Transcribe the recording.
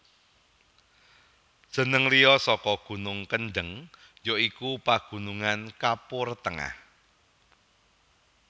Jeneng liya saka gunung Kendeng ya iku Pagunungan Kapur Tengah